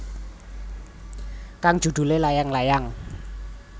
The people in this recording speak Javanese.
Kang judulé Layang Layang